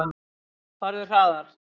Farðu hraðar.